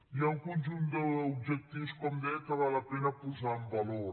hi ha un conjunt d’objectius com deia que val la pena posar en valor